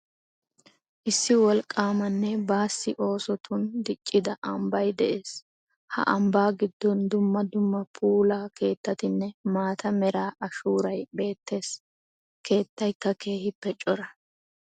Issi wolqqaamanne baasi oosotun diccida ambbay de'ees. Ha ambbaa giddon dumma dumma puula keettatinne maata mera ashuuray beettees. Keettaykka keehippe cora.